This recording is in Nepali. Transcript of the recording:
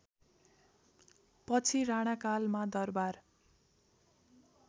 पछि राणाकालमा दरबार